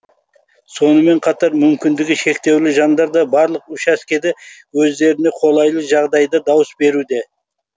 сонымен қатар мүмкіндігі шектеулі жандар да барлық учаскеде өздеріне қолайлы жағдайда дауыс беруде